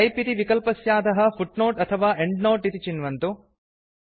type इति विकल्पस्याधः फूटनोटे अथवा एण्ड्नोते इति चिन्वन्तु